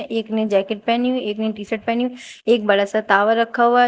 एक ने जैकेट पहनी हुई एक ने टी शर्ट पहनी हुई है एक बडा सा तावा रखा हुआ है।